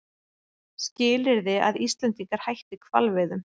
Skilyrði að Íslendingar hætti hvalveiðum